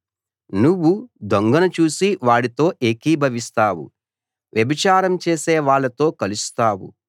నువ్వు దొంగను చూసి వాడితో ఏకీభవిస్తావు వ్యభిచారం చేసే వాళ్ళతో కలుస్తావు